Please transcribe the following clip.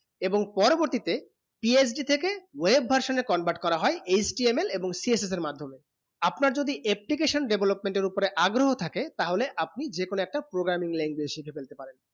এবং পরবর্তী তে PhD থেকে wave version এ convert করা হয়ে HTML এবং CS এর মাধম্যে আপনা যদি aptication development উপরে আগ্রহ থাকে টা হলে আপনি যে কোনো একটা programming language সাইট ফেলতে পারেন